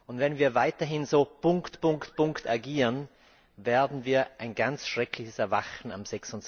Und wenn wir weiterhin so Punkt, Punkt, Punkt agieren, werden wir ein ganz schreckliches Erwachen am